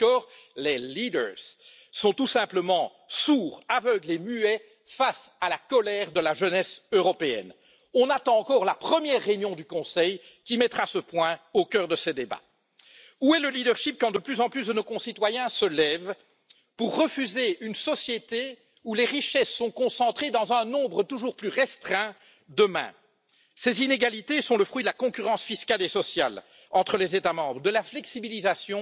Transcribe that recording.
Là encore, les leaders sont tout simplement sourds, aveugles et muets face à la colère de la jeunesse européenne. Nous attendons toujours la première réunion du Conseil qui mettra ce point au cœur de ses débats. Où est le leadership quand de plus en plus de nos concitoyens se lèvent pour refuser une société où les richesses sont concentrées dans un nombre toujours plus restreint de mains? Ces inégalités sont le fruit de la concurrence fiscale et sociale entre les États membres, de la flexibilisation